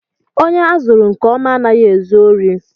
Ònye azụrụ nke ọma anaghị ezu órí.